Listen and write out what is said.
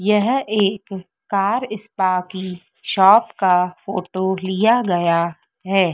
यह एक car spa की शॉप का फोटो लिया गया है।